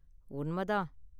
உண்மை தான்.